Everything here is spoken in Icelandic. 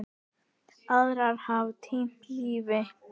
Aðrir hafa týnt lífinu.